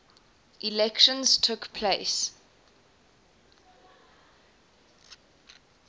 elections took place